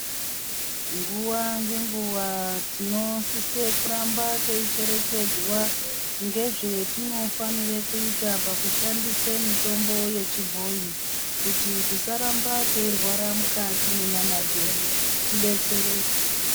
Nguva ngenguva tinosise kuramba teicherechedzwa ngezvatinofanira kuita teishandise mitombo yechibhoi. Kuti tisaramba teirwara mukati mwenyama dzedu tibetsereke.